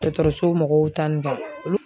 Dɔgɔtɔrɔso mɔgɔw ta nin